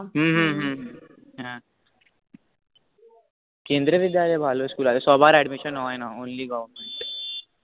হু হু হু হ্য়াঁ কেন্দ্র বিদ্যালয় ভালো school আছে সবার admission হয় না only goverment